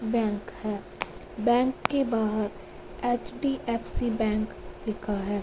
Bank है bank के बाहर एच_डी_एफ_सी बैंक लिखा है।